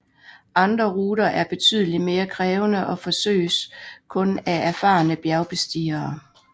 Andre ruter er betydeligt mere krævende og forsøges kun af erfarne bjergbestigere